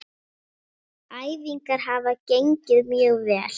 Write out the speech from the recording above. Ennið mjög breitt.